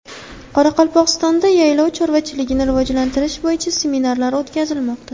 Qoraqalpog‘istonda yaylov chorvachiligini rivojlantirish bo‘yicha seminarlar o‘tkazilmoqda.